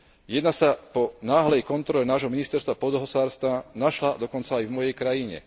Jedna sa po náhlej kontrole nášho ministerstva pôdohospodárstva našla dokonca aj v mojej krajine.